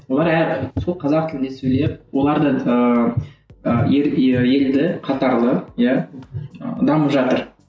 олар сол қазақ тілінде сөйлеп олар да ыыы елді қатарлы иә ы дамып жатыр